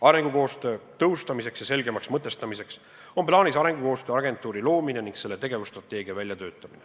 Arengukoostöö tõhustamiseks ja selgemaks mõtestamiseks on plaanis luua arengukoostöö agentuur ning töötada välja selle tegevusstrateegia.